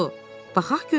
Baxaq görək.